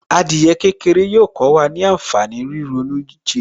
Adìyẹ kékeré yóò kó wa ní ànfàní ríronú ìjìnlẹ̀